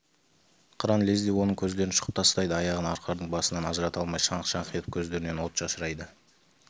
қыран лезде оның көздерін шұқып тастайды аяғын арқардың басынан ажырата алмай шаңқ-шаңқ етіп көздерінен от шашырайды